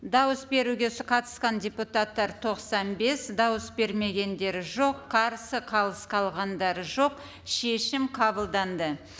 дауыс беруге қатысқан депутаттар тоқсан бес дауыс бермегендер жоқ қарсы қалыс қалғандар жоқ шешім қабылданды